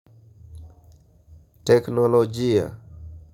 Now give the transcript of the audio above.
Teknolojia.